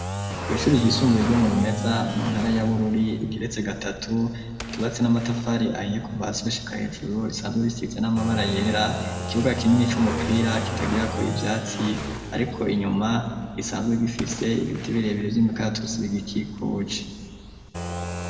Kw ishuri ry'isumbuye ryo Murumeza mu ntara ya Bururi igiretse gatatu kibatsi n'amatafari ahiye kuva hasi gushika hejuru risanzwe risize n'amabara yera ikibuga kinini cumupira kitagira ko ivyatsi ariko inyuma risanzwe bifise ibiti birebere by'imikatusi bigikikuje.